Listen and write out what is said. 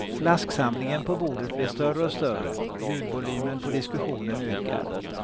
Flasksamlingen på bordet blir större och större, ljudvolymen på diskussionen ökar.